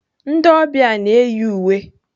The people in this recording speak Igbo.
Ndị ọbịa na-eyi uwe.